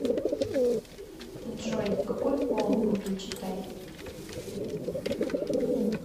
джой какой пол у гюльчатай